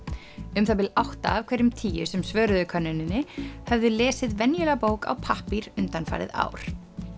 um það bil átta af hverjum tíu sem svöruðu könnuninni höfðu lesið venjulega bók á pappír undanfarið ár